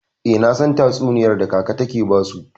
Eh, nasan tatsuniyar da kaka take basu.